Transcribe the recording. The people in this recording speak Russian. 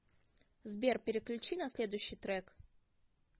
сбер переключи на следущий трек